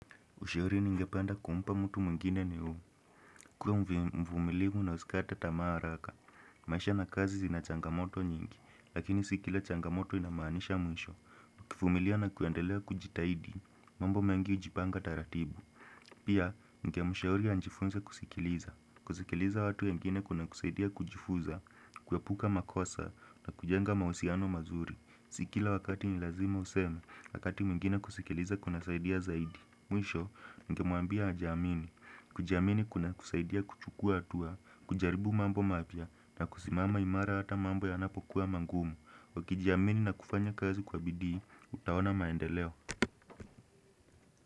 Ushauri ningepanda kumpa mtu mwingine ni huu. Kuwa mvumiliu na usikate tamaa araka. Maisha na kazi zina changamoto nyingi. Lakini si kila changamoto inamaanisha mwisho. Kifumilia na kuandelea kujitaidi. Mambo mengi ujipanga taratibu. Pia, ngemshauri anjifunza kusikiliza. Kusikiliza watu wengine kunakusaidia kujifuza. Kuepuka makosa na kujenga mausiano mazuri. Si kila wakati ni lazima useme. Wakati mwingine kusikiliza kuna saidia zaidi. Mwisho, ningemwambia ajiamini. Kujiamini kunakusaidia kuchukua atua, kujaribu mambo mapya na kusimama imara hata mambo yanapokuwa mangumu. Ukijiamini na kufanya kazi kwa bidii, utaona maendeleo.